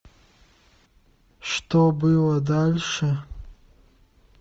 что было дальше